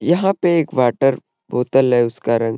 यंहा पे एक वाटर बोतल है उसका रंग --.